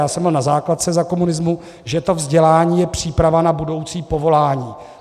já jsem byl na základce za komunismu, že to vzdělání je příprava na budoucí povolání.